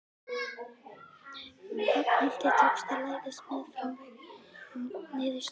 Ragnhildi tókst að læðast meðfram veggnum niður stigann.